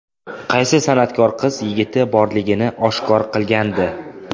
Qaysi san’atkor qiz yigiti borligini oshkor qilgandi?